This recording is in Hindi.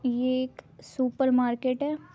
ये एक सुपर मार्केट है।